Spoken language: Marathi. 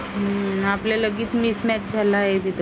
हम्म आपला लगेच mismatch झाला आहे तिथं